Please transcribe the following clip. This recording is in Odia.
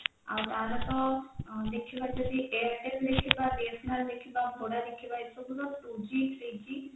ଆଉ ତାର ତ ଦେଖିବା ଯଦି airtel ଦେଖିବା BSNL ଦେଖିବା voda ଦେଖିବା ଏସବୁର two g three g